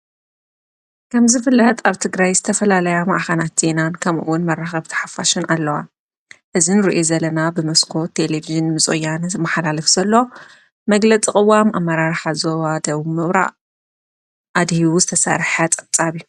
ከምዝ ፍልህጥ ኣብቲ ግራይ ዝተፈላለያ መኣኻናት ቲናን ከምኡውን መረኸብ ቲሓፋሽን ኣለዋ እዝን ርእየ ዘለና ብምስኮ ተሌብዝን ምጽያንስ መሓላልፍ ዘሎ መግለጥቕዋም ኣመራር ሓዞዋ ደው ምብራእ ኣድሂውዝ ተሠርሐ ጠጻብ እዩ።